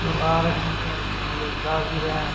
लोग आ रहे हैं और कुछ लोग जा भी रहे है।